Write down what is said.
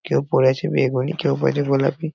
কেউ পড়ে আছে বেগুনি কেউ পড়েছে গোলাপি।